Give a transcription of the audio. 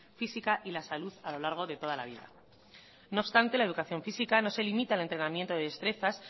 física y la salud a lo largo de toda la vida no obstante la educación física no se limita al entrenamiento de destrezas